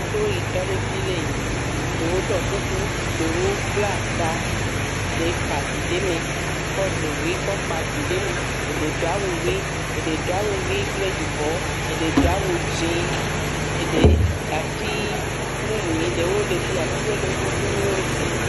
Me ɖewo yi tɔ ɖe fii lee yiŋ. Eɖewo ɖɔɔ kuku, eɖewo bla taa, eɖee kpa vi ɖe mɛ ekɔ ɖo ʋe kɔkpa vi ɖe mee. Eɖe do awu ʋi. Eɖe do awu ʋi kple yibɔɔ. Eɖe do awu dzẽẽ. Eɖe atii mumuiŋ ɖewo le fia. Atiwo le woƒe fi ma zã.